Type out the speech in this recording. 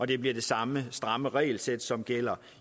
det bliver det samme stramme regelsæt som gælder